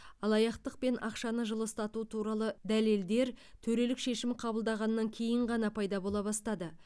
алаяқтық пен ақшаны жылыстату туралы дәлелдер төрелік шешім қабылдағаннан кейін ғана пайда бола бастады